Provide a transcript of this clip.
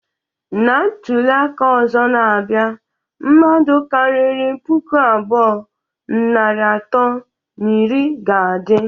Na ntuli aka ozo na-abia, mmadu kariri puku abụọ, narị atọ na iri ga-adi